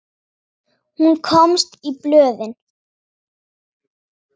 Hún komst í blöðin.